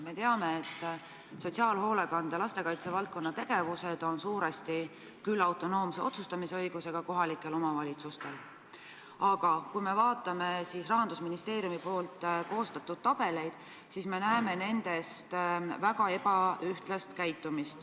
Me teame, et sotsiaalhoolekande lastekaitsevaldkonna tegevused on suuresti küll autonoomse otsustamisõigusega kohalikel omavalitsustel, aga kui me vaatame Rahandusministeeriumi koostatud tabeleid, siis näeme nende puhul väga ebaühtlast käitumist.